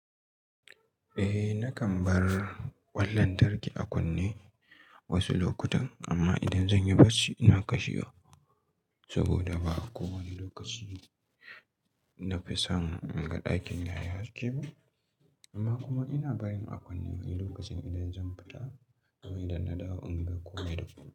Eh nakan bar kwan lantarki a kunne wasu lokutan amma idan zan yi barci ina kashewa saboda ba kowane lokaci na fi son in ga ɗakin na ya haske ba. Amma kuma ina barin a kunne wani lokacin idan zan fita domin idan na dawo in ga ko wanda abu.